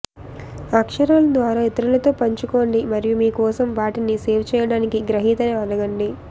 అక్షరాలు ద్వారా ఇతరులతో పంచుకోండి మరియు మీ కోసం వాటిని సేవ్ చేయడానికి గ్రహీతని అడగండి